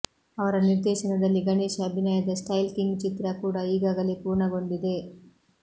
ಅವರ ನಿರ್ದೇಶನದಲ್ಲಿ ಗಣೇಶ್ ಅಭಿನಯದ ಸ್ಟೈಲ್ ಕಿಂಗ್ ಚಿತ್ರ ಕೂಡಾ ಈಗಾಗಲೇ ಪೂರ್ಣಗೊಂಡಿದೆ